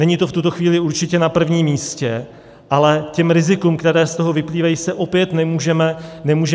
Není to v tuto chvíli určitě na prvním místě, ale těm rizikům, která z toho vyplývají, se opět nemůžeme vyhnout.